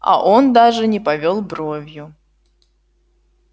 а он даже не повёл бровью